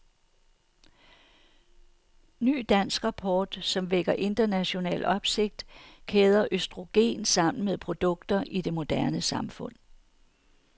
Ny dansk rapport, som vækker international opsigt, kæder østrogen sammen med produkter i det moderne samfund.